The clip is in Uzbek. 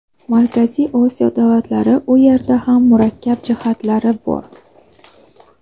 Markaziy Osiyo davlatlari – u yerda ham murakkab jihatlar bor.